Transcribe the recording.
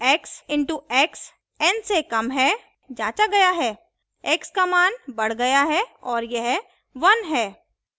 x into x n से कम है जाँचा गया है x का मान बढ़ गया है और यह 1 है